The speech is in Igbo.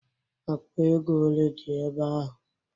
Akpa ego ole dị ebe ahụ?